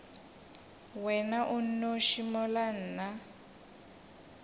wena o nnoši mola nna